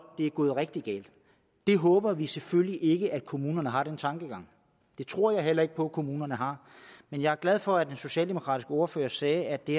det er gået rigtig galt der håber vi selvfølgelig ikke at kommunerne har den tankegang det tror jeg heller ikke på at kommunerne har men jeg er glad for at den socialdemokratiske ordfører sagde at det